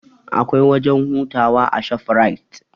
Akwai wajen hutawa a shofrait